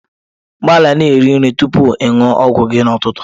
Gbalịa na-iriri nri tupu ị ṅụọ ọgwụ gị n'ụtụtụ.